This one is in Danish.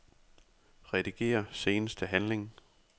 Rediger seneste handling.